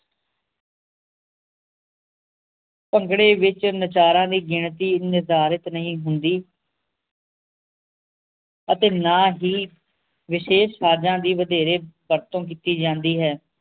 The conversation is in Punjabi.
ਭੰਗੜੇ ਵਿਚ ਨਚਾਰਾਂ ਦੀ ਗਿਣਤੀ ਨਿਧਾਰਿਤ ਨਹੀਂ ਹੁੰਦੀ ਅਤੇ ਨਾ ਹੀ ਵਿਸ਼ੇਸ਼ ਸਾਜਾਂ ਦੀ ਵਧੇਰੇ ਵਰਤੋਂ ਕੀਤੀ ਜਾਂਦੀ ਹੈ